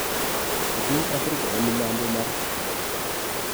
E piny Afrika ma milambo mar Sahara.